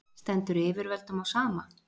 Stendur yfirvöldum á sama?